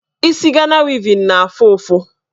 Isi Gana wevin na-afụ ụfụ.